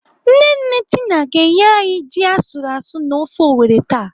Nne nne Tina ga-enye anyị ji asụrụ asụ na ofe Owerri taa..